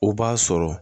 O b'a sɔrɔ